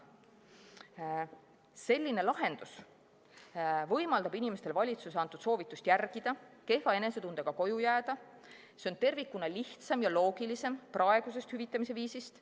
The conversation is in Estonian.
Selline lahendus võimaldab inimestel valitsuse antud soovitust järgida, kehva enesetundega koju jääda, see on tervikuna lihtsam ja loogilisem praegusest hüvitamise viisist.